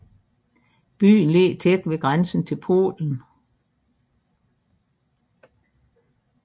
Byen ligger tæt ved grænsen til Polen